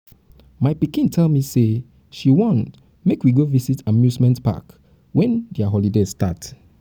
my um pikin tell me say she wan make we go visit amusement park um wen their um holiday start